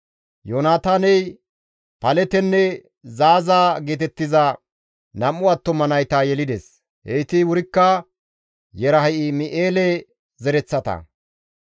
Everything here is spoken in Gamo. Yoonataaney Paletenne Zaaza geetettiza 2 attuma nayta yelides; heyti wurikka Yerahim7eele zereththata.